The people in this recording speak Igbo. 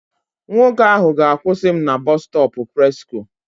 Nwoke ahụ ga-akwụsị m na Bọstọpụ Presko.